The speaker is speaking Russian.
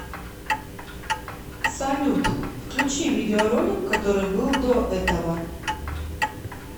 салют включи видео ролик который был до этого